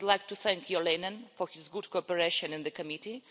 I would like to thank Jo Leinen for his good cooperation in the committee.